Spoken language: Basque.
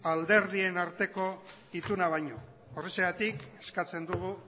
alderdien arteko ituna baino horrexegatik eskatzen dugu